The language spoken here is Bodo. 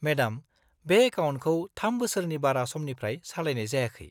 -मेडम, बे एकाउन्टखौ थाम बोसोरनि बारा समनिफ्राय सालायनाय जायाखै।